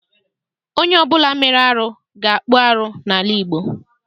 Onye ọbụla mere arụ ga-akpụ arụ n'ala Igbo.